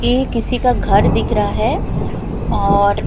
ये किसी का घर दिख रहा है और--